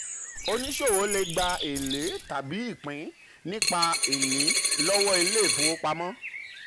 oníṣòwò le gbà um èlé tàbí ìpín nípa ìní lọ́wọ́ ilé um ìfowopamọ́.